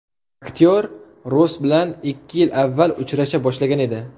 Aktyor Ross bilan ikki yil avval uchrasha boshlagan edi.